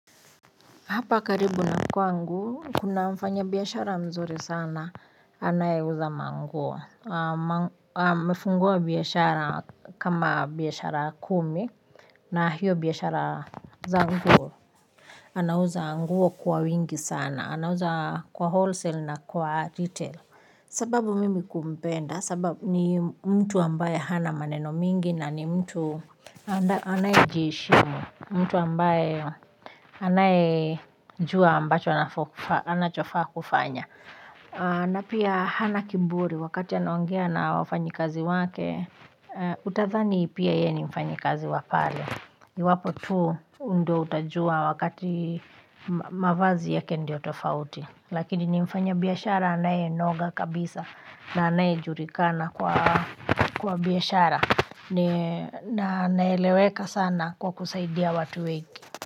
Hapa karibu na kwangu kuna mfanya biashara mzuri sana anayeuza ma nguo amefungua biashara kama biashara kumi na hiyo biashara za nguo. Anauza nguo kwa wingi sana anauza kwa wholesale na kwa retail. Sababu mimi kumpenda sababu ni mtu ambaye hana maneno mingi na ni mtu anaye jiheshimu mtu ambaye anaye jua ambacho anachofaa kufanya na pia hana kiburi wakati anaongea na wafanyi kazi wake utadhani pia yeye ni mfanyi kazi wa pale iwapo tu ndo utajua wakati mavazi yake ndio tofauti lakini ni mfanya biashara anayenoga kabisa na anaye julikana kwa biashara. Na anaeleweka sana kwa kusaidia watu wengi.